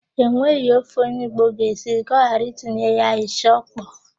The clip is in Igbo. E nweghị ofe onye Igbo ga-esi ka ọ ghara itinye ya ịsha ọkpọọ.